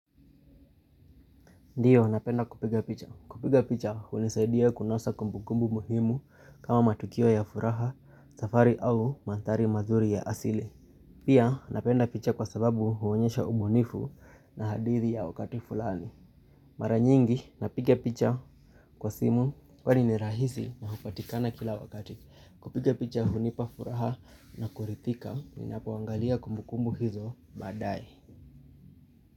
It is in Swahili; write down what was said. Ndiyo napenda kupiga picha. Kupiga picha hunisaidia kunasa kumbukumbu muhimu kama matukio ya furaha, safari au manthari mazuri ya asili. Pia napenda picha kwa sababu huonyesha ubunifu na hadithi ya wakati fulani. Mara nyingi napiga picha kwa simu kwani ni rahisi na hupatikana kila wakati. Kupiga picha hunipa furaha na kurithika ninapoangalia kumbukumbu hizo baadae.